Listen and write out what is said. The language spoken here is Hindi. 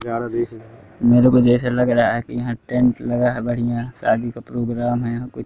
जाड़ा दिख मेरे को जैसा लग रहा की यहां टेंट लगा है बढ़िया शादी का प्रोग्राम है यहां कु--